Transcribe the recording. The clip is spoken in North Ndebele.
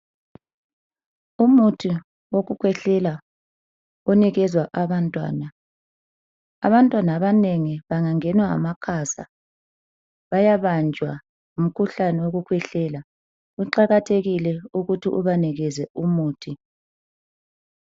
Umuthi wokukhwehlela onikezwa abantwana. Abantwana abanengi bengangenwa ngamakhaza bayabanjwa ngumkhuhlane wokukhwehlela. Kuqakathekile ukuthi ubanikeze umuthi.